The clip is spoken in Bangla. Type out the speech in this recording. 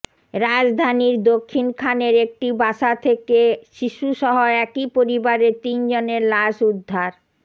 রাজধানীর দক্ষিণখানের একটি বাসা থেকে শিশুসহ একই পরিবারের তিনজনের লাশ উদ্ধার